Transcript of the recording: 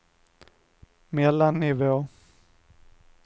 mellannivå